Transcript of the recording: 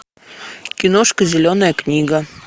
киношка зеленая книга